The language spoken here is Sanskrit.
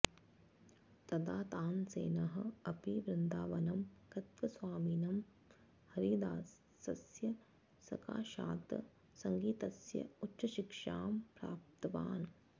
तदा तानसेनः अपि वृन्दावनं गत्व स्वामिनः हरिदासस्य सकाशात् सङ्गीतस्य उच्चशिक्षां प्राप्तवान्